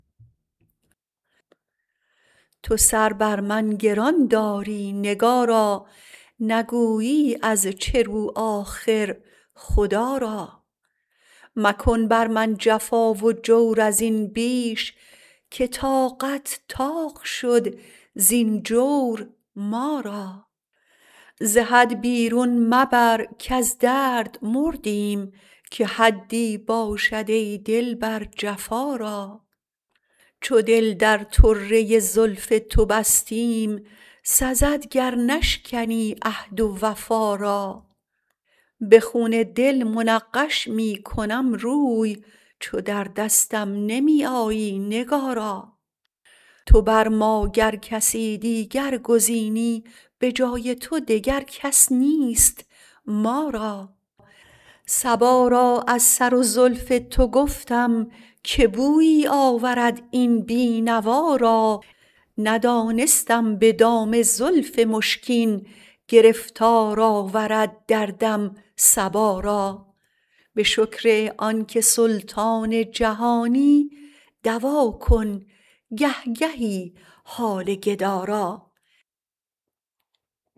تو سر بر من گران داری نگارا نگویی از چه رو آخر خدا را مکن بر من جفا و جور از این بیش که طاقت طاق شد زین جور ما را ز حد بیرون مبر کز درد مردیم که حدی باشد ای دلبر جفا را چو دل در طره زلف تو بستیم سزد گر نشکنی عهد و وفا را به خون دل منقش می کنم روی چو در دستم نمی آیی نگارا تو بر ما گر کسی دیگر گزینی به جای تو دگر کس نیست ما را صبا را از سر و زلف تو گفتم که بویی آورد این بینوا را ندانستم به دام زلف مشکین گرفتار آورد دردم صبا را به شکر آنکه سلطان جهانی دوا کن گهگهی حال گدا را